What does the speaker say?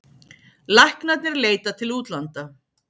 Læknarnir leita til útlanda